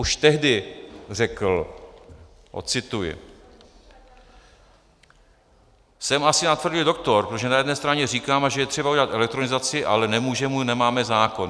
Už tehdy řekl - ocituji: "Jsem asi natvrdlý doktor, protože na jedné straně říkáme, že je třeba udělat elektronizaci, ale nemůžeme, nemáme zákon.